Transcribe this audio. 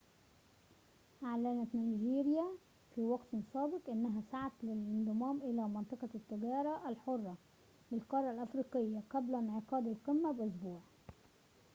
أعلنت نيجيريا في وقت سابق أنها سعت للانضمام إلى منطقة التجارة الحرة للقارة الإفريقية قبل انعقاد القمة بأسبوع